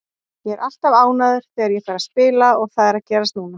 Ég er alltaf ánægður þegar ég fæ að spila og það er að gerast núna.